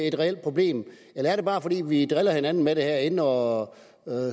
et reelt problem eller er det bare fordi vi driller hinanden med det herinde og